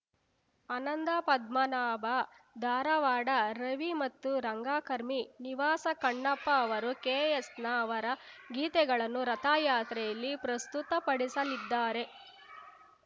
ಅನಂದಪದ್ಮನಾಭ ಧಾರವಾಡ ರವಿ ಮತ್ತು ರಂಗಕರ್ಮಿ ನಿವಾಸ ಕಪ್ಪಣ್ಣ ಅವರು ಕೆಎಸ್‌ನ ಅವರ ಗೀತೆಗಳನ್ನು ರಥಯಾತ್ರೆಯಲ್ಲಿ ಪ್ರಸ್ತುತಪಡಿಸಲಿದ್ದಾರೆ